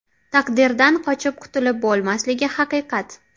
Taqdirdan qochib qutulib bo‘lmasligi haqiqat.